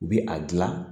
U bi a gilan